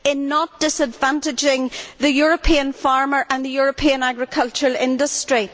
not to disadvantage the European farmer and the European agricultural industry.